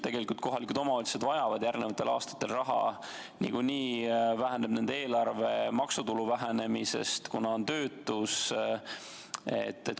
Tegelikult kohalikud omavalitsused vajavad järgnevatel aastatel raha, niikuinii väheneb nende eelarve maksutulu vähenemisest, kuna on töötus.